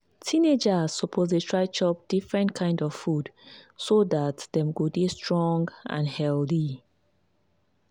teenagers suppose dey try chop different kind of food so dat dem go dey strong and healthy.